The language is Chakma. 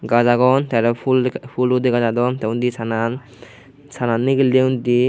gach agon te aro pool poolhute gadadon te undi sanan sanan ligele undi.